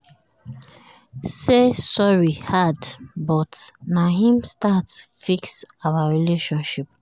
say sorry hard but na him start fix our relationship